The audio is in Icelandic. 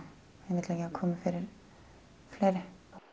komi fyrir fleiri